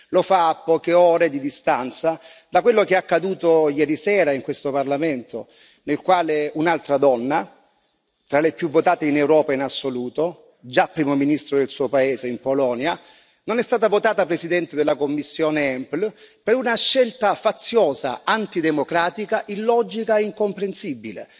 Lo fa a poche ore di distanza da quello che è accaduto ieri sera in questo Parlamento, nel quale un'altra donna, tra le più votate in Europa in assoluto, già primo ministro del suo paese in Polonia, non è stata votata presidente della commissione EMPL per una scelta faziosa, antidemocratica, illogica e incomprensibile.